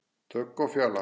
Dögg og Fjalar.